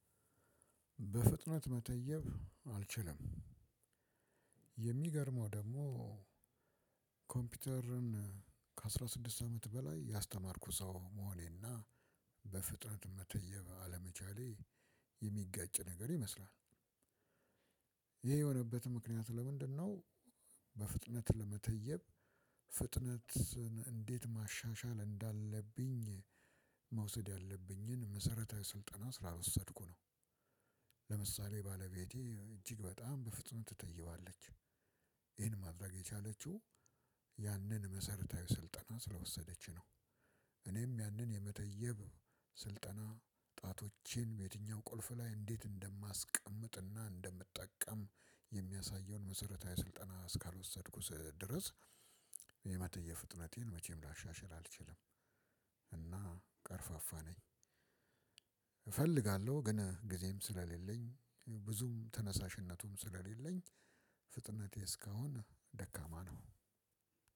በፍጥነት መተየብ አልችልም። የሚገርመው ደግሞ ኮምፒውተርን ከአስራ ስድስት አመት በላይ ያስተማርኩ ሰው መሆኔና በፍጥነት መተየብ አለመቻሌ የሚጋጭ ነገር ይመስላል። ይሄ የሆነበት ምክንያት ለምንድነው? በፍጥነት ለመተየብ ፍጥነትን እንዴት ማሻሻል እንዳለብኝ መውሰድ ያለብኝን መሰረተ ስልጠና ስላልወሰድኩ ነው። ባለቤቴ እጅግ በጣም በፍጥነት ትተይባለች። ይሄን ማድረግ የቻለችው ያንን መሰረታዊ ስልጠና ስለወሰደች ነው። እኔም ያንን የመተየብ ስልጠና ጣቶቼን በየትኛው ቁልፍ ላይ እንዴት እንደማስቀምጥና እንደምጠቀም የሚያሳየውን መሰረታዊ ስልጠና እስካልወሰድኩት ድረስ የመተየብ ፍጥነቴን መቼም ላሻሽል አልችልም። እና ቀርፋፋ ነኝ። እፈልጋለሁ ግን ጊዜም ስለሌለኝ ብዙም ተነሳሽነቱም ስለሌለኝ ፍጥነቴ እስካሁን ደካማ ነው።